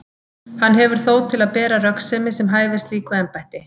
Hann hefur þó til að bera röggsemi sem hæfir slíku embætti.